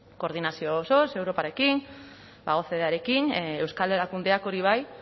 koordinazio osoz europarekin ocdearekin euskal erakundeak hori bai